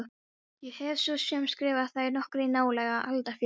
Ég hef svo sem skrifað þær nokkrar í nálega aldarfjórðung.